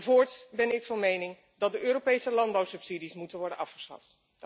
Voorts ben ik van mening dat de Europese landbouwsubsidies moeten worden afgeschaft.